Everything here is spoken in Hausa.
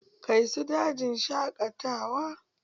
Kai su dajin shaƙatawa!